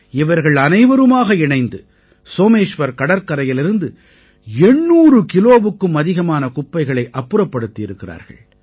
இவர்கள் அனைவருமாக இணைந்து சோமேஷ்வர் கடற்கரையிலிருந்து 800 கிலோவுக்கும் அதிகமான குப்பைகளை அப்புறப்படுத்தியிருக்கிறார்கள்